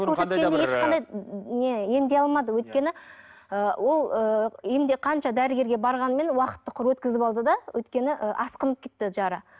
көрсеткенде ешқандай не емдей алмады өйткені ы ол ыыы енді қанша дәрігерге барғанмен уақытты құр өткізіп алды да өйткені ы асқынып кетті жара